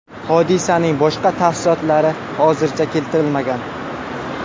Hodisaning boshqa tafsilotlari hozircha keltirilmagan.